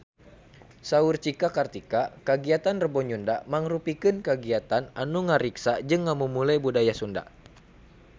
Saur Cika Kartika kagiatan Rebo Nyunda mangrupikeun kagiatan anu ngariksa jeung ngamumule budaya Sunda